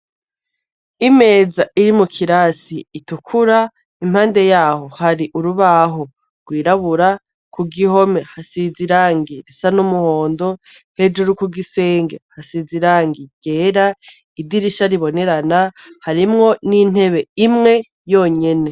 Imeza iri mu kirasi itukura, impande yaho hari urubaho rw’irabura, ku gihome hasize irangi risa n’umuhondo, hejuru ku gisenge hasize irangi ryera idirisha ribonerana harimwo n’intebe imwe yonyene.